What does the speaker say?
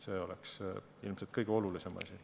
See oleks ilmselt kõige olulisem asi.